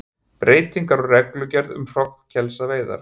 Breytingar á reglugerð um hrognkelsaveiðar